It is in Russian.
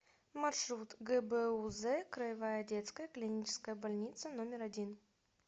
маршрут гбуз краевая детская клиническая больница номер один